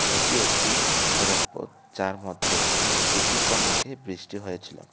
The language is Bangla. এটি একটি সড়ক পথ যার মধ্যে কিছুক্ষণ আগে বৃষ্টি হয়েছিলো।